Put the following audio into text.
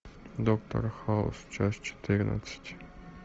доктор хаус часть четырнадцать